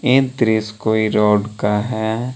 ये दृश्य कोई रोड का है।